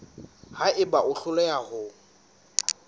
ha eba o hloleha ho